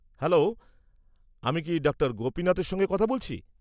-Hello, আমি কি doctor গোপিনাথের সঙ্গে কথা বলছি?